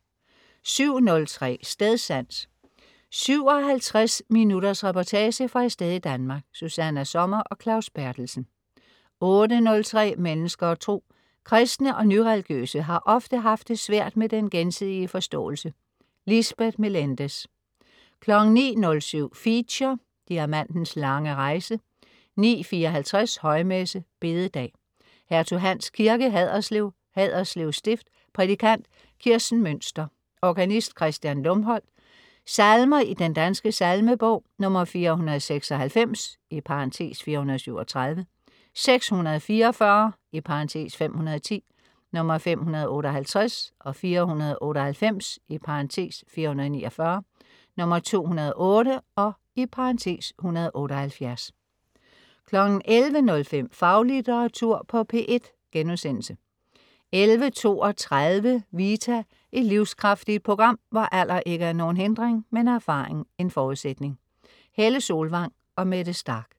07.03 Stedsans. 57 minutters reportage fra et sted i Danmark. Susanna Sommer og Claus Berthelsen 08.03 Mennesker og Tro. Kristne og ny-religiøse har ofte haft det svært med den gensidige forståelse. Lisbeth Meléndez 09.07 Feature: Diamantens lange rejse 09.54 Højmesse. Bededag. Hertug Hans Kirke, Haderslev. Haderslev Stift. Prædikant: Kirsten Münster. Organist: Kristian Lumholdt. Salmer i Den Danske Salmenbog: 496 (437), 644 (510), 558, 498 (449), 208 (178) 11.05 Faglitteratur på P1* 11.32 Vita. Et livskraftigt program, hvor alder ikke er nogen hindring, men erfaring en forudsætning. Helle Solvang og Mette Starch